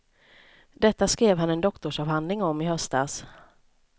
Detta skrev han en doktorsavhandling om i höstas.